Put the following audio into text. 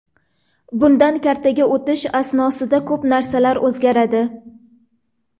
Bundan kartaga o‘tish asnosida ko‘p narsalar o‘zgaradi.